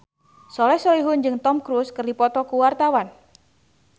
Soleh Solihun jeung Tom Cruise keur dipoto ku wartawan